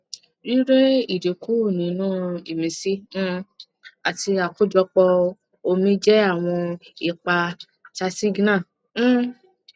rírẹ idinku ninu imisi um àti akojopo omi jẹ àwọn ipa tasigna um